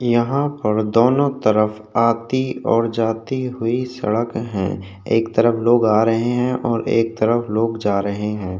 यहाँ पर दोनों तरफ आती और जाती हुई सड़क है एक तरफ लोग आ रहे है और एक तरफ लोग जा रहे है।